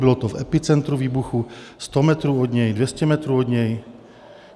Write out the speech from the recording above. Bylo to v epicentru výbuchu, 100 metrů od něj, 200 metrů od něj?